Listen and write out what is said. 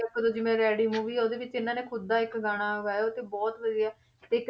ਆ ਖੁੱਦ ਜਿਵੇਂ ਰੈਡੀ movie ਆ ਉਹਦੇ ਵਿੱਚ ਇਹਨਾਂ ਨੇ ਖੁੱਦ ਦਾ ਇੱਕ ਗਾਣਾ ਗਾਇਆ ਤੇ ਬਹੁਤ ਵਧੀਆ, ਤੇ